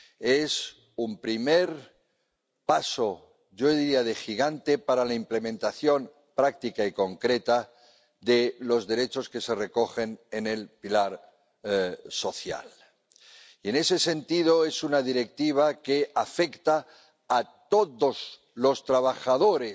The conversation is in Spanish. Es un primer paso —yo diría de gigante— para la implementación práctica y concreta de los derechos que se recogen en el pilar social y, en ese sentido, es una Directiva que afecta a todos los trabajadores